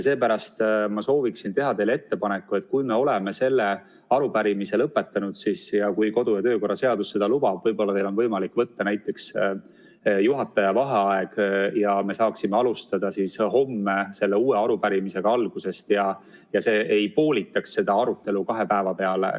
Seepärast ma soovin teha teile ettepaneku, et kui me oleme selle arupärimise lõpetanud ja siis, kui kodu- ja töökorra seadus seda lubab, võib-olla teil on võimalik võtta juhataja vaheaeg ja me saaksime alustada homme uue arupärimisega algusest ja see arutelu ei poolituks kahe päeva peale.